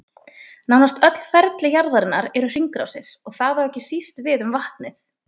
Nánast öll ferli jarðarinnar eru hringrásir, og það á ekki síst við um vatnið.